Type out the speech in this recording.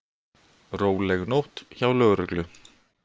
Róleg nótt hjá lögreglu